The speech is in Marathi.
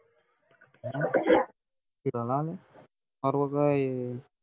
पर्वा काय आहे